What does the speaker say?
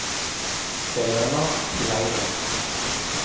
Helena Kleiven